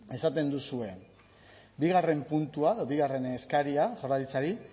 esaten duzue bigarren puntua edo bigarren eskaria jaurlaritzari